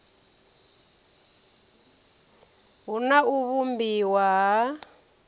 hu na u vhumbiwa ha